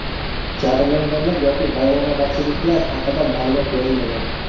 Jabrlanganlar yoki vayronagarchiliklar haqida ma’lumot berilmagan.